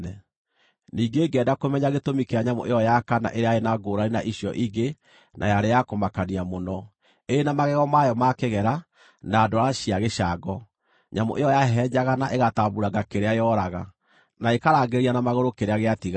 “Ningĩ ngĩenda kũmenya gĩtũmi kĩa nyamũ ĩyo ya kana ĩrĩa yarĩ na ngũũrani na icio ingĩ na yarĩ ya kũmakania mũno, ĩrĩ na magego mayo ma kĩgera na ndwara cia gĩcango, nyamũ ĩyo yahehenjaga na ĩgatambuuranga kĩrĩa yooraga, na ĩkarangĩrĩria na magũrũ kĩrĩa gĩatigara.